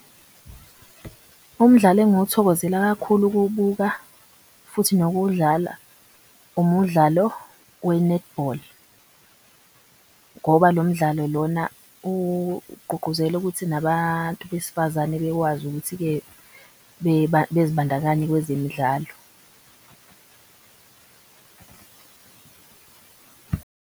Umdlalo engiwuthokozela kakhulu ukuwubuka futhi nokuwudlala umudlalo we-netball ngoba lo mdlalo lona ugqugquzela ukuthi nabantu besifazane bekwazi ukuthi-ke bezibandakanye kwezemidlalo.